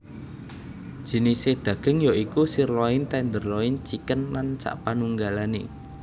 Jinisé daging ya iku sirloin tenderloin chicken lan sapanunggalane